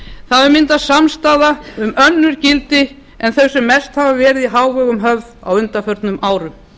það hefur myndast samstaða um önnur gildi en þau sem mest hafa verið í hávegum höfð á undanförnum árum